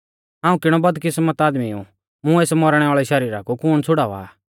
हाऊं किणौ बदकिस्मत आदमी ऊ मुं एस मौरणै वाल़ै शरीरा कु कुण छ़ुड़ावा आ